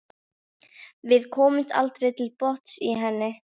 Við komumst aldrei til botns í henni.